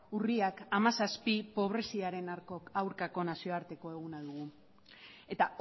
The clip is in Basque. urriak hamazazpi pobreziaren aurkako nazioarteko eguna dugu eta